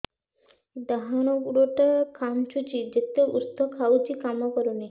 ଡାହାଣ ଗୁଡ଼ ଟା ଖାନ୍ଚୁଚି ଯେତେ ଉଷ୍ଧ ଖାଉଛି କାମ କରୁନି